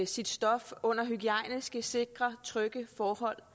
sit stof under hygiejniske sikre og trygge forhold